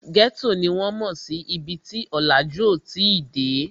Ghetto ni wọ́n mò sí ibi tí ọ̀làjú ò tí ì dé